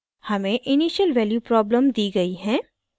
हमें initial value problem दी गयी हैं